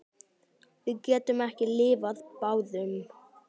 Við getum ekki lifað báðum.